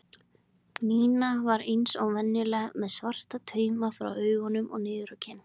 Nína var eins og venjulega með svarta tauma frá augum og niður á kinn.